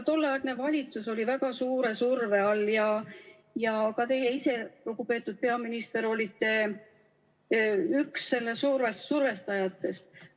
Tolleaegne valitsus oli väga suure surve all ja ka teie ise, lugupeetud peaminister, olite üks survestajatest.